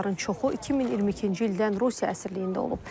Onların çoxu 2022-ci ildən Rusiya əsirliyində olub.